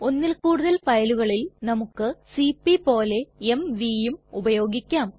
ഒന്നിൽ കൂടുതൽ ഫയലുകളിൽ നമുക്ക് സിപി പോലെ mvയും ഉപയോഗിക്കാം